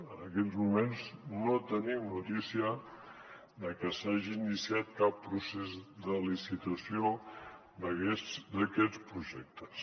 en aquests moments no tenim notícia de que s’hagi iniciat cap procés de licitació d’aquests projectes